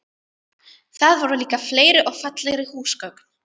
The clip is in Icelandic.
Þar voru líka fleiri og fallegri húsgögn.